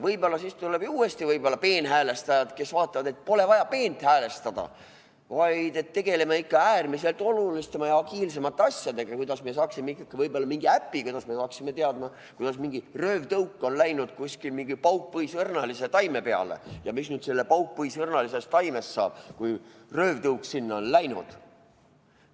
Võib-olla siis tulevad uuesti peenhäälestajad, kes vaatavad, et polegi vaja peent häälestada, vaid tegeleme ikka äärmiselt oluliste ja agiilsete asjadega, kuidas me ikkagi saaksime mingi äpi, et me saaksime teada, kuidas mingi röövtõuk on läinud kuskil mingi paukpõisõrnalise taime peale ja mis nüüd sellest paukpõisõrnalisest taimest saab, kui röövtõuk sinna on läinud.